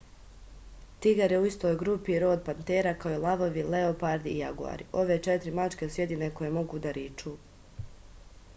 тигар је у истој групи род panthera као и лавови леопарди и јагуари. ове четири мачке су једине које могу да ричу